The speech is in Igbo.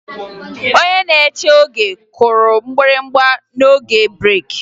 Onye na-eche oge kụrụ mgbịrịgba n'oge breeki